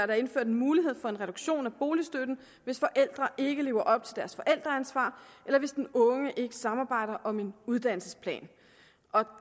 der indført en mulighed for en reduktion af boligstøtten hvis forældre ikke lever op til deres forældreansvar eller hvis den unge ikke samarbejder om en uddannelsesplan